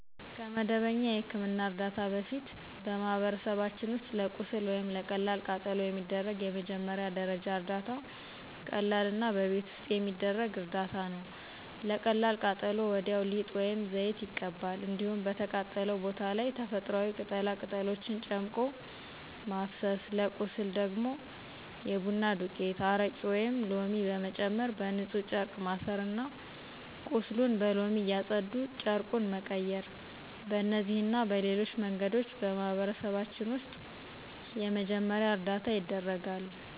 ከመደበኛ የሕክምና እርዳታ በፊት በማህበረሰባችን ውስጥ ለቁስል ወይም ለቀላል ቃጠሎ የሚደረግ የመጀመሪያ ደረጃ እርዳታ ቀላልና በቤት ውስጥ የሚደረግ እርዳታ ነው። ለቀላል ቃጠሎ ወዲያው ሊጥ ወይም ዘይት ይቀባል። እንዲሁም በተቃጠለው ቦታ ላይ ተፈጥሮአዊ ቅጠላ ቅጠሎችን ጨምቆ ማፍሰስ፤ ለቁስል ደግሞ የቡና ዱቄት፣ አረቄ ወይም ሎሚ በመጨመር በንፁህ ጨርቅ ማሠርና ቁስሉን በሎሚ እያፀዱ ጨርቁን መቀየር። በእነዚህና በሌሎች መንገዶች በማህበረሰባችን ውስጥ የመጀመሪያ እርዳታ ይደረጋል።